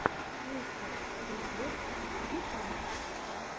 мистер фриквер ютюб